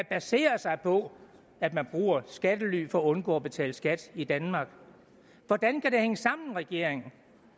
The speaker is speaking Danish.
baserer sig på at man bruger skattely for at undgå at betale skat i danmark hvordan kan det hænge sammen regeringen